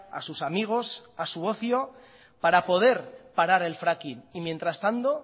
a sus amigos a su ocio para poder parar el fracking y mientras tanto